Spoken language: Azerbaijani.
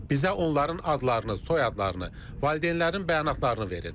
Bizə onların adlarını, soyadlarını, valideynlərin bəyanatlarını verin.